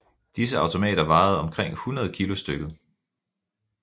Disse automater vejede omkring 100 kg stykket